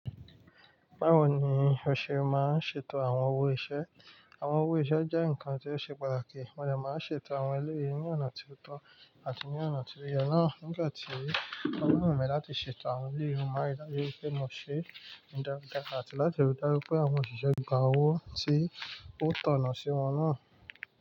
Báwo ni o ṣe máa ń ṣètò àwọn owó-iṣẹ́? Àwọn owó-iṣẹ́ jẹ́ ǹkan tí ó ṣe pàtàkì, mo dẹ̀ máa ń ṣètò àwọn eléyìí ní ọ̀nà tí ó tọ́ àti ní ọ̀nà tí ó yẹ náà nígbà tí ó wùn mi láti ṣètò àwọn eléyìí máa ń ríi dájú pé mo ṣe ìlàkàkà àti láti ríi dájú pé àwọn òṣìṣẹ́ gba owó tí ó tọ́nà sí wọn náà.